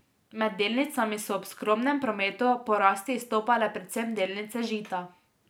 Med delnicami so ob skromnem prometu po rasti izstopale predvsem delnice Žita.